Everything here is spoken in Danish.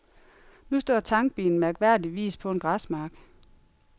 Nu står tankbilen mærkværdigvis på en græsmark.